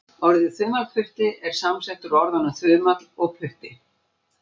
Orðið þumalputti er samsett úr orðunum þumall og putti.